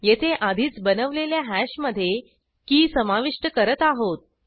येथे आधीच बनवलेल्या हॅशमधे की समाविष्ट करत आहोत